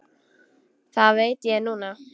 Það veit ég núna.